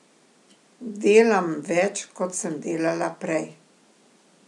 Delam več, kot sem delala prej.